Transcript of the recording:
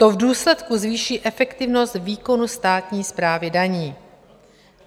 To v důsledku zvýší efektivnost výkonu státní správy daní.